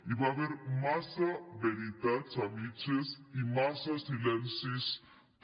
hi va haver massa veritats a mitges i massa silencis també